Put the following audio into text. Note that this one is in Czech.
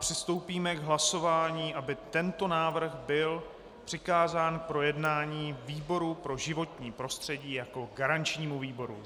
Přistoupíme k hlasování, aby tento návrh byl přikázán k projednání výboru pro životní prostředí jako garančnímu výboru.